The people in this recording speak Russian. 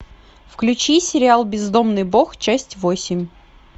включи сериал бездомный бог часть восемь